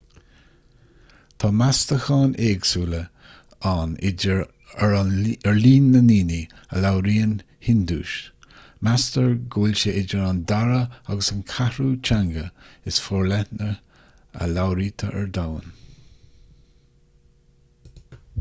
tá meastacháin éagsúla ann ar líon na ndaoine a labhraíonn hiondúis meastar go bhfuil sé idir an dara agus an ceathrú teanga is forleithne a labhraítear ar domhan